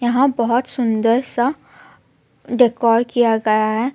यहाँ बहोत सुन्दर सा डेकोर किया गया है.